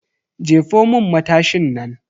Jefo mun matashin nan.